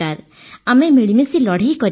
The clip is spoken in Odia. ଆମେ ମିଳିମିଶି ଲଢ଼େଇ କରିବା